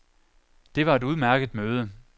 Det var et udmærket møde.